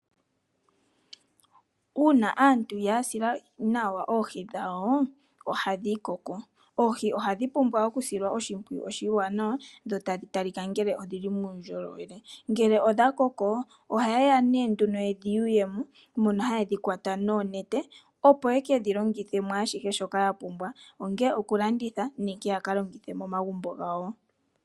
Una aantu ya sila nawa oohi dhawo ohadhi koko. Oohi ohadhi pumbwa okusilwa oshipwiyu oshiwanawa dho tadhi talika ngele odhili muundjolowele. Ngele odha koko oha ye ya nee nduno dhi yuye mo. Mono hadhi kwata noonete opo ye kedhi longithe mwaashihe shoka ya pumbwa ongele okulanditha nenge ya kalongithe momagumbo gawo.